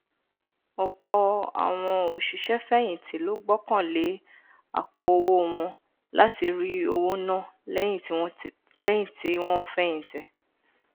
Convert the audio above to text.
ọpọ àwọn òṣìṣẹfẹyìntì ló gbọkànlé àpòowó wọn láti rí owó ná lẹyìn tí wọn fẹyìntì